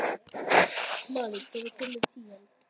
Marri, hvenær kemur tían?